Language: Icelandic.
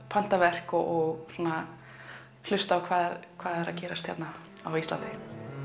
panta verk og hlusta á hvað hvað er að gerast hérna á Íslandi